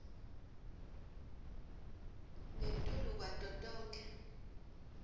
ngetulu kwato tonkhe